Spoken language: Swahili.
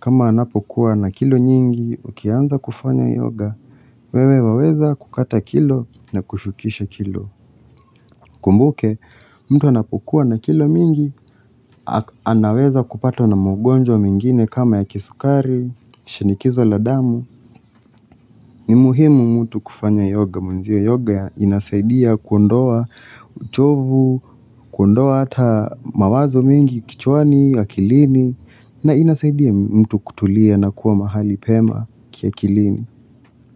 Kama anapokuwa na kilo nyingi, ukianza kufanya yoga. Wewe waweza kukata kilo na kushukisha kilo. Kumbuke, mtu anapokuwa na kilo mingi, anaweza kupatwa na magonjwa mengine kama ya kisukari, shinikizo la damu. Ni muhimu mtu kufanya yoga mwenze. Yoga inasaidia kuondoa uchovu, kuondoa hata mawazo mengi kichwani akilini na inasaidia mtu kutulia na kuwa mahali pema kiakilini.